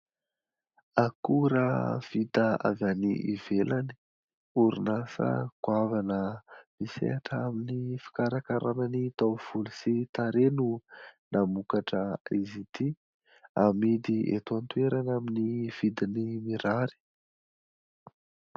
Akora vita avy any ivelany, orinasa goavana misehatra amin'ny fikarakarana ny taovolo sy tarehy no namokatra izy ity, amidy eto an-toerana amin'ny vidiny mirary.